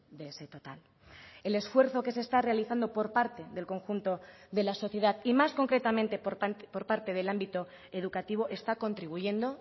de ese total el esfuerzo que se está realizando por parte del conjunto de la sociedad y más concretamente por parte del ámbito educativo está contribuyendo